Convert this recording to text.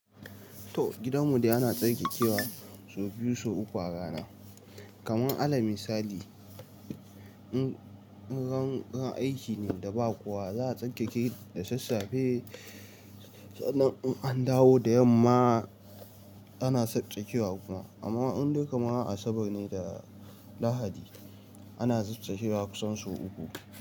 To gidanmu dai ana tsarkekewa sau biyu sau uku a rana. Kaman alal misali, in ran aiki ne da ba kowa za a tsarkeke da sassafe, sannan in an dawo da yamma ana tsarkekewa kuma. Amma inda kaman Asabar ne da Lahadi ana tsarkekewa kusan sau uku.